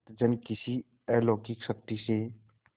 भक्तजन किसी अलौकिक शक्ति से